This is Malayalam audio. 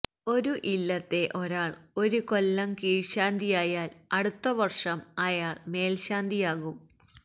ഒരു ഇല്ലത്തെ ഒരാള് ഒരു കൊല്ലം കീഴ്ശാന്തിയായാല് അടുത്തവര്ഷം അയാള് മേല്ശാന്തിയാകും